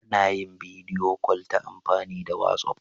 Ana yin bidiyo kol ta amfani da wasi'of.